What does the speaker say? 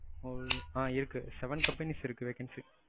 ஆ seven companies இருக்கு vacency.